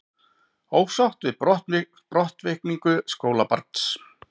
Ósátt við brottvikningu skólabarns